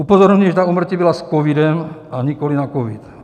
Upozorňuji, že ta úmrtí byla s covidem, a nikoliv na covid.